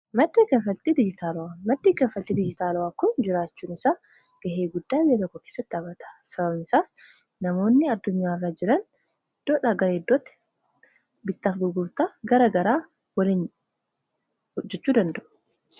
maddi kanlfaaltii dijiitaawa, maddi kanlfaaltii dijiitaawa kun jiraachuun isaa gahee guddaa jireeynaa koo keessatti taphaata sabaabnisaas namoonni addunyaaaraa jiraan idoodha garaa iddootti bittaaf gurgurtaa gara garaa waliin ojechuu danda'u